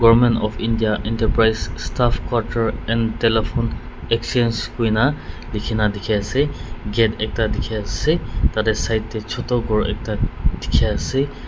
government of india enterprise staff quater and telephone exchange koina likhina dikhiase gate ekta dikhiase tatae side tae choto khor ekta dikhiase.